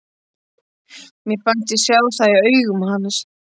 Mér fannst ég sjá það í augum hans.